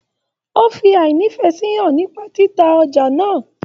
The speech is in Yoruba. O fí ínífẹsí hàn nípa títa ọjà náà.